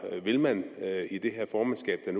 vil man i det formandskab der